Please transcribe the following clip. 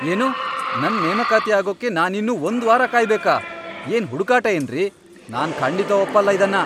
ಏನು?! ನನ್ ನೇಮಕಾತಿ ಆಗೋಕೆ ನಾನಿನ್ನೂ ಒಂದ್ ವಾರ ಕಾಯ್ಬೇಕಾ?! ಏನ್ ಹುಡುಗಾಟ ಏನ್ರಿ.. ನಾನ್ ಖಂಡಿತ ಒಪ್ಪಲ್ಲ ಇದ್ನ!